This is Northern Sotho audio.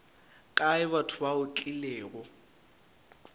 kae batho ba o tlilego